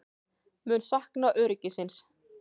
Mun sakna öryggisins.